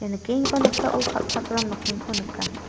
ia nikenggipa noksao kal·chakram nokningko nika.